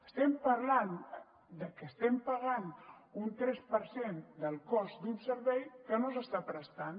estem parlant de que estem pagant un tres per cent del cost d’un servei que no s’està prestant